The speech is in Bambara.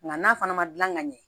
Nka n'a fana ma gilan ka ɲɛ